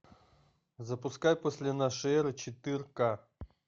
запускай после нашей эры четырка